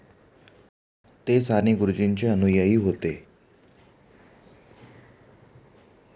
ते साने गुरुजींचे अनुयायी होते.